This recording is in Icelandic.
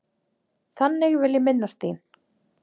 Þannig vil ég minnast þín.